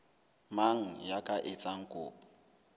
mang ya ka etsang kopo